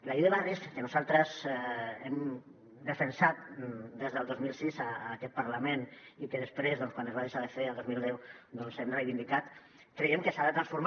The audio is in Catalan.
la llei de barris que nosaltres hem defensat des del dos mil sis en aquest parlament i que després quan es va deixar de fer el dos mil deu doncs hem reivindicat creiem que s’ha de transformar